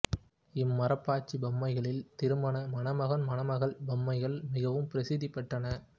இம்மரப்பாச்சி பொம்மைகளில் திருமண மணமகன் மணமகள் பொம்மைகள் மிகவும் பிரசித்தி பெற்றன